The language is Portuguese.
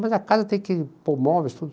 Mas a casa tem que pôr móveis, tudo.